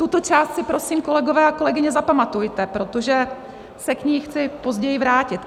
Tuto část si prosím, kolegové a kolegyně, zapamatujte, protože se k ní chci později vrátit.